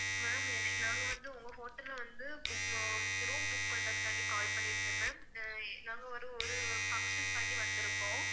ma'am என~ நாங்க வந்து உங்க hotel ல வந்து bo~ room book பண்றதுக்காண்டி call பண்ணி இருந்தேன் ma'am அ நாங்க ஒரு ஒரு function காண்டி வந்திருக்கோம்